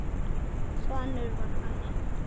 Svanur var þannig.